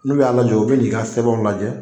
N'u y'a lajɔ u bɛ n'i ka sɛbɛnw lajɛ